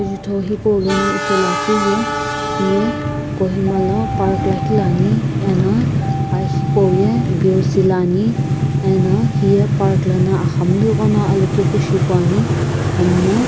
jutho hipau lono ithulu akiu ye hiye kohima lo park lakhi lo ani eno aa hipau ye boc lo ani eno hiye park lono axamunu ighono alokepu shi pu ani hamino.